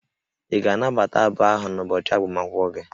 Ị ga-anabata abụ ahụ n'ụbọchị agbamakwụkwọ gị?